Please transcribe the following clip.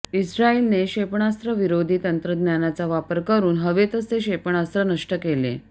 इस्रायलने क्षेपणास्त्रविरोधी तंत्रज्ञानाचा वापर करून हवेतच हे क्षेपणास्त्र नष्ट केले